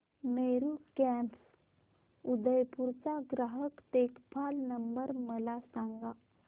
Meru cabs Udaipur चा ग्राहक देखभाल नंबर मला सांगा